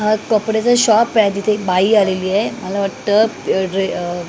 अ कपड्याचा एक शॉप आहे तिथे एक बाई आलेली आहे मला वाटतं अ ड्रे अ--